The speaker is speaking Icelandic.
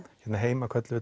hérna heima köllum